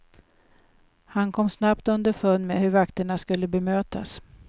Han kom snabbt underfund med hur vakterna skulle bemötas.